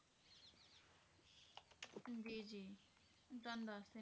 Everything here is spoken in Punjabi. ਜੀ ਜੀ ਤੁਹਾਨੂੰ ਦੱਸਦੀ